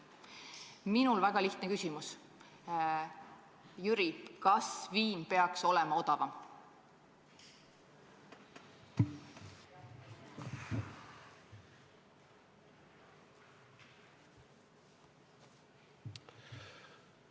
Minul on väga lihtne küsimus: Jüri, kas viin peaks olema odavam?